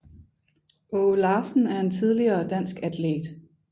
Aage Larsen er en tidligere dansk atlet